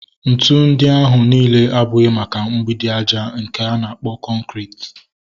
Ntụ ndị ahụ nile abụghị maka mgbidi aja nke a na-akpọ kọnkriti